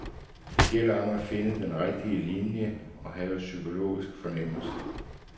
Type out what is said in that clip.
Det gælder om at finde den rigtige linje og have psykologisk fornemmelse.